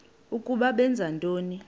ukuba benza ntoni